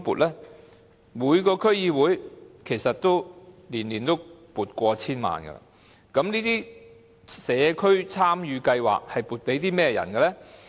其實每個區議會每年都會撥款超過 1,000 萬元，但這些社區參與計劃是撥款予甚麼人的呢？